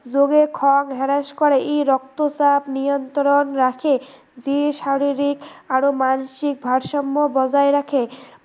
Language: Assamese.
যোগে খং হ্ৰাস কৰে, ই ৰক্তচাপ নিয়ন্ত্ৰণ ৰাখে যি শাৰিৰীক আৰু মানসিক ভাৰসম্য় বজাই ৰাখে